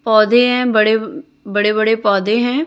पौधे है बड़े बड़े बड़े पौधे हैं।